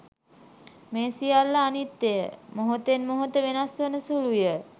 මේ සියල්ල අනිත්‍යය, මොහොතෙන් මොහොත වෙනස් වන සුළුය.